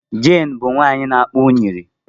Jane bụ nwanyị na akpa unyiri.